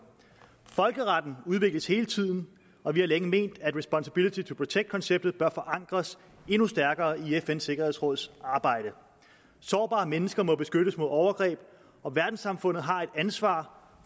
folkeretten udvikles hele tiden og vi har længe ment at responsibility to protect konceptet bør forankres endnu stærkere i fns sikkerhedsråds arbejde sårbare mennesker må beskyttes mod overgreb og verdenssamfundet har et ansvar